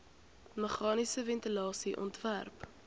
meganiese ventilasie ontwerp